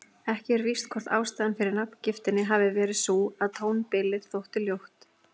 Ekki er víst hvort ástæðan fyrir nafngiftinni hafi verið sú að tónbilið þótti ljótt.